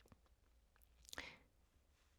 DR P1